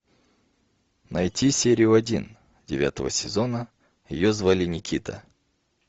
найти серию один девятого сезона ее звали никита